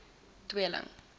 tweeling